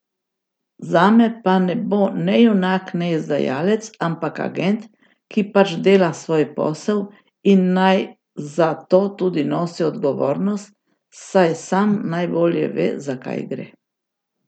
Zame pa ne bo ne junak ne izdajalec, ampak agent, ki pač dela svoj posel, in naj za to tudi nosi odgovornost, saj sam najbolje ve, za kaj gre.